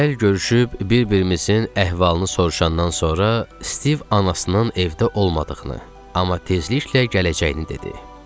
Əl görüşüb bir-birimizin əhvalını soruşandan sonra Stiv anasının evdə olmadığını, amma tezliklə gələcəyini dedi.